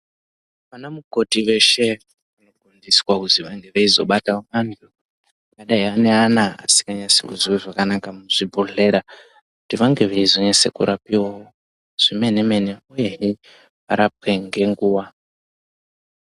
Anamukoti veshe vanofundiswa kuzwi vange veizobate antu akadai ane ana asingazwi zvakanaka muzvibhehlera kuti vange veizonase kurapiwawo zvemene-mene uyehe varapwe ngenguwa.